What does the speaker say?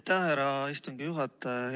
Aitäh, härra istungi juhataja!